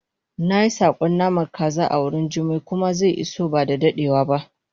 nayi sakon namar kaza awurin jummai kuma ze iso bada dadewa ba